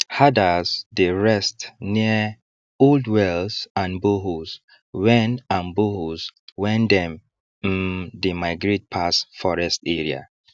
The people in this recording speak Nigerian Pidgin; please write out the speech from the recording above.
herders dey rest near old wells and boreholes wen and boreholes wen them um dey migrate pass forest area